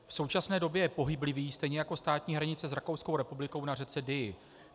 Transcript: V současné době je pohyblivý, stejně jako státní hranice s Rakouskou republikou na řece Dyji.